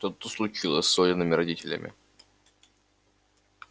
что-то случилось с олиными родителями